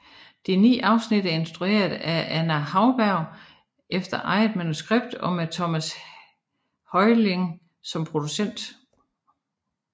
De ni afsnit er instrueret af Anja Hauberg efter eget manuskript og med Thomas Heurlin som producent